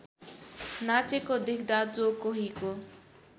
नाचेको देख्दा जो कोहीको